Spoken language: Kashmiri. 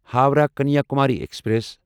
ہووراہ کنیاکُماری ایکسپریس